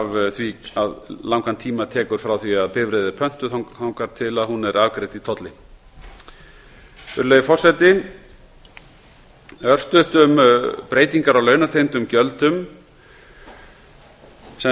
af því hversu langan tíma tekur frá því að bifreið er pöntuð þangað til hún er afgreidd í tolli virðulegi forseti örstutt um breytingar á launatengdum gjöldum það